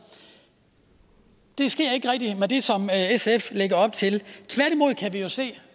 det sker ikke rigtig med det som sf lægger op til tværtimod kan vi jo se